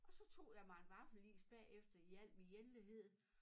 Og så tog jeg mig en vaffelis bagefter i alt min enlighed